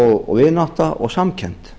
og vinátta og samkennd